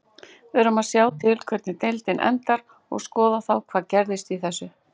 Við verðum að sjá til hvernig deildin endar og skoða þá hvað gerðist í þessu.